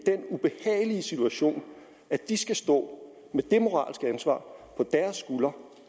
i situation at de skal stå med det moralske ansvar på deres skuldre